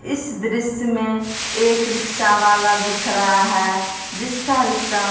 इस दृश्य में एक रिक्शा वाला दिख रहा है जिसका रिक्शा --